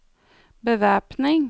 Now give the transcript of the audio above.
bevæpning